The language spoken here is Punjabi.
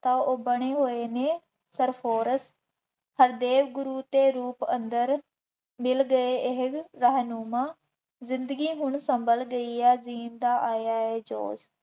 ਤਾਂ ਉਹ ਬਣੇ ਹੋਏ ਨੇ ਸਰਫੋਰਸ, ਹਰਦੇਵ ਗੁਰੂ ਦੇ ਰੂਪ ਅੰਦਰ ਮਿਲ ਗਏ ਇਹ ਰਹਿਨੁਮਾ, ਜ਼ਿੰਦਗੀ ਹੁਣ ਸੰਭਲ ਗਈ ਹੈ, ਜੀਣ ਦਾ ਆਇਆ ਹੈ ਜੋਸ਼।